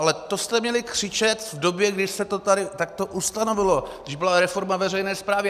Ale to jste měli křičet v době, kdy se to tady takto ustanovilo, když byla reforma veřejné správy.